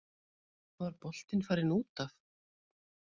Var boltinn farinn út af?